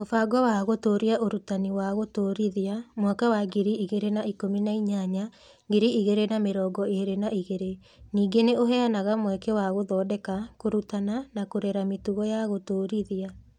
Mũbango wa Gũtũũria Ũrutani wa Gũtũũrithia (mwaka wa ngiri igĩrĩ na ikũmi na inyanya - ngiri igĩrĩ na mĩrongo ĩĩrĩ na igĩrĩ) ningĩ nĩ ũheanaga mweke wa gũthondeka, kũrutana, na kũrera mĩtugo ya Gũtũũrithia.